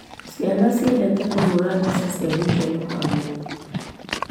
Ciana ciendete kũhũra mbica cia gĩkeno hamwe.